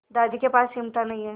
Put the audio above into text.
दादी के पास चिमटा नहीं है